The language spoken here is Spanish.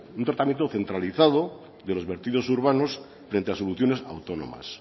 un tratamiento centralizado de los vertidos urbanos frente a soluciones autónomas